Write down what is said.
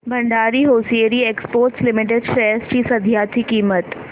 Bhandari hosiery exports limited shares ची सध्याची किंमत